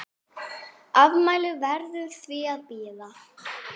Afmælið verður því að bíða.